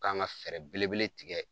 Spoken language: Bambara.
K'an ka fɛɛrɛ belebele tigɛ